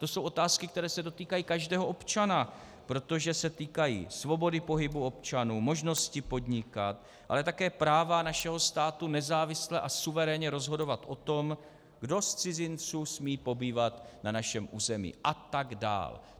To jsou otázky, které se dotýkají každého občana, protože se týkají svobody pohybu občanů, možnosti podnikat, ale také práva našeho státu nezávisle a suverénně rozhodovat o tom, kdo z cizinců smí pobývat na našem území a tak dál.